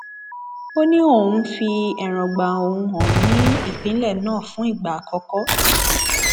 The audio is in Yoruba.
ó ní òun ń fi èròǹgbà òun hàn ní ìpínlẹ náà fún ìgbà àkọkọ